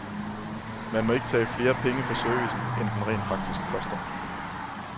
Man må ikke tage flere penge for servicen, end den rent faktisk koster.